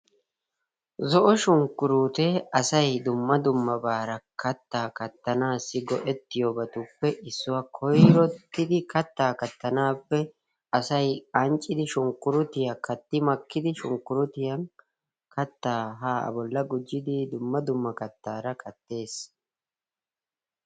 Zo'o shunkkuruutee asay dumma dummabaara kattaa kattanaassi go'ettiyobatuppe issuwa. Koyrottidi kattaa kattanaappe asay anccidi shunkkurutiya katti makkidi shunkkurutiyan kattaa haa A bolla gujjidi dumma dumma kattaara kattees.